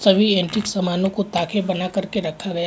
सभी एंटीक सामानों को ताखे बना करके रखा गया हैं।